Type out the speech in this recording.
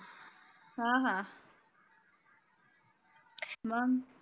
हा हा मग